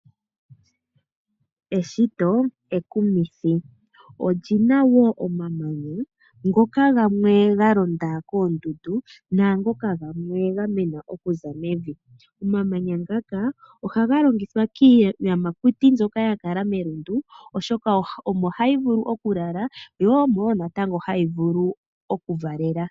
Eshito ekumithi. Olina wo omamanya ngoka gamwe ga londa koondundu, naangoka gamena okuza mevi . Omamanya ngaka ohaga longithwa kiiyamakuti mbyoka yakala melundu, oshoka omo hayi vulu okulala, yo omo wo natango hayi vulu okuvalela.